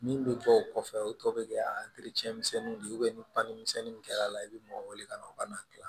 Min bɛ bɔ o kɔfɛ o tɔ bɛ kɛ misɛnninw de ye ni fani misɛnninw kɛra a la i bɛ mɔgɔ wele ka na u ka na kila